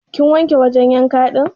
Kin wanke wajan yanka din?